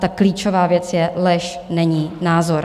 Ta klíčová věc je: lež není názor.